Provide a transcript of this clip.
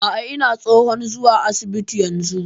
A'a ina tsohon zuwa asibiti yanzu